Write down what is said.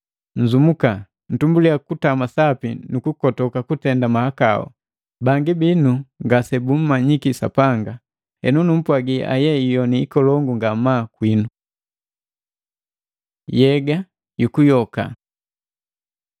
Nzumuka! Ntumbuliya kutama sapi nukukotuka kutenda mahakau. Bangi binu ngasebummanyiki Sapanga. Henu numpwagi aye iyoni ikolongu ngamaa kwinu! Yega jukuyoka